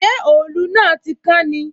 Ṣé òòlù náà tí kán ni?